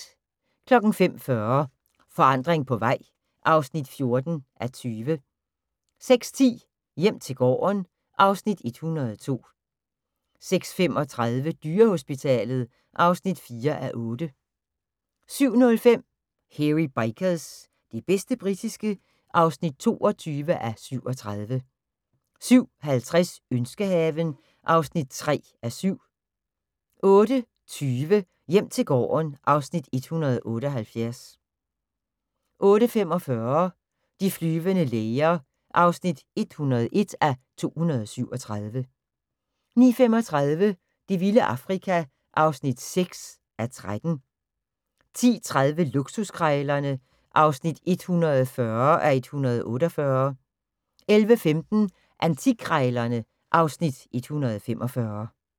05:40: Forandring på vej (14:20) 06:10: Hjem til gården (Afs. 102) 06:35: Dyrehospitalet (4:8) 07:05: Hairy Bikers – det bedste britiske (22:37) 07:50: Ønskehaven (3:7) 08:20: Hjem til gården (Afs. 178) 08:45: De flyvende læger (101:237) 09:35: Det vilde Afrika (6:13) 10:30: Luksuskrejlerne (140:148) 11:15: Antikkrejlerne (Afs. 145)